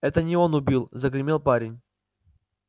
это не он убил загремел парень